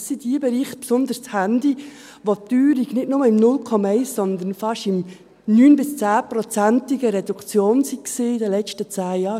Das sind die Bereiche, besonders das Handy, in denen die Teuerung nicht nur bei 0,1 Punkten, sondern fast in 9- bis 10-prozentiger Reduktion war in den letzten 10 Jahren.